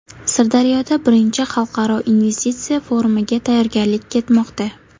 Sirdaryoda I Xalqaro investitsiya forumiga tayyorgarlik ketmoqda.